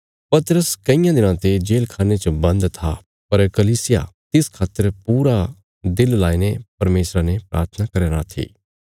पतरस कईयां दिनां ते जेल खाणे च बन्द था पर कलीसिया तिस खातर पूरा दिल लाईने परमेशरा ने प्राथना करया राँ थी